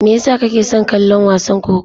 Me yasa kake son kallon wasan kokawa?